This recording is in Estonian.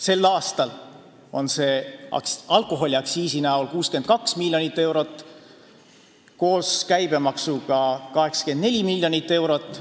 Sel aastal on see alkoholiaktsiisi näol 62 miljonit eurot, koos käibemaksuga 84 miljonit eurot.